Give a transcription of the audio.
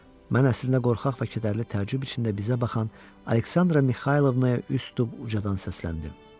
Mən əslində qorxaq və kədərli təəccüb içində bizə baxan Aleksandra Mixaylovnaya üz tutub ucadan səsləndim.